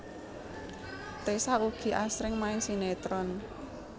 Tessa ugi asring main sinetron